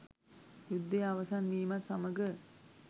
යුද්ධය අවසන් වීමත් සමග